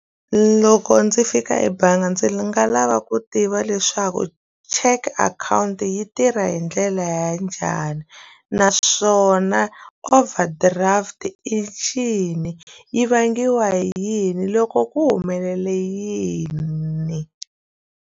Loko ndzi fika ebangi ndzi nga lava ku tiva leswaku cheque akhawunti yi tirha hi ndlela ya njhani naswona overdraft i ncini yi vangiwa hi yini loko ku humelele yini.